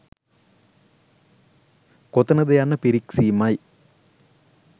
කොතනද යන්න පිරික්සීමයි